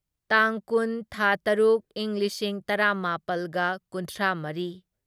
ꯇꯥꯡ ꯀꯨꯟ ꯊꯥ ꯇꯔꯨꯛ ꯢꯪ ꯂꯤꯁꯤꯡ ꯇꯔꯥꯃꯥꯄꯜꯒ ꯀꯨꯟꯊ꯭ꯔꯥꯃꯔꯤ